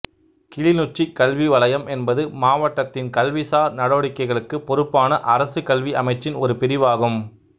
கிளிநொச்சி கல்வி வலயம் என்பது மாவட்டத்தின் கல்விசார் நடவடிக்கைகளுக்கு பொறுப்பான அரச கல்வி அமைச்சின் ஒரு பிரிவாகும்